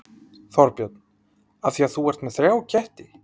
Þorbjörn: Af því að þú ert með þrjá ketti?